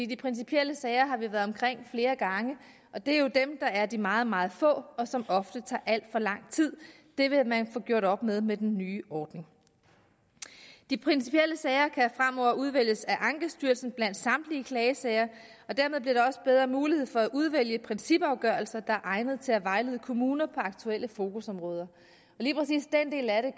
de principielle sager har vi været omkring flere gange og det er jo dem der er de meget meget få og som ofte tager alt for lang tid det vil man få gjort op med med den nye ordning de principielle sager kan fremover udvælges af ankestyrelsen blandt samtlige klagesager og dermed bliver der også bedre mulighed for at udvælge principafgørelser der er egnede til at vejlede kommuner på aktuelle fokusområder lige præcis den del af det